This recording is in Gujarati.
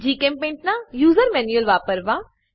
જીચેમ્પેઇન્ટ ના યુજર મેન્યુઅલ વાપરવા